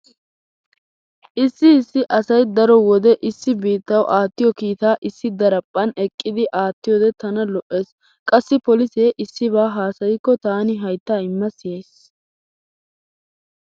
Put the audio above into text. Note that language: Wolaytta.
Issi issi asay daro wode issi biittawu aattiyo kiitaa issi daraphphan eqqidi aattiyode tana lo'ees. Qassi polise issiba haasayikko taani haytta imma siyays.